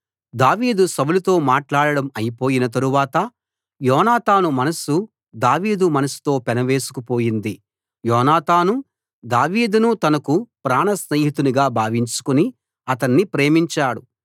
దావీదు సౌలుతో మాట్లాడడం అయిపోయిన తరువాత యోనాతాను మనసు దావీదు మనసుతో పెనవేసుకు పోయింది యోనాతాను దావీదును తనకు ప్రాణస్నేహితునిగా భావించుకుని అతణ్ణి ప్రేమించాడు